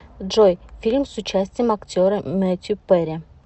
джой фильм с участием актера метью перри